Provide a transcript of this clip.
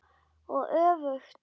Og öfugt.